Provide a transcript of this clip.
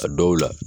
A dɔw la